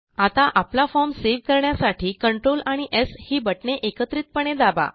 आता आपला form save करण्यासाठी कंट्रोल आणि स् ही बटणे एकत्रितपणे दाबा